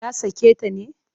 Ya sake ta ne?